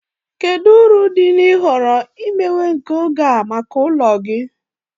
Kedu uru dị na ịhọrọ imewe nke oge a maka ụlọ gị?